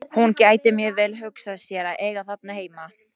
Hún gæti mjög vel hugsað sér að eiga þarna heima.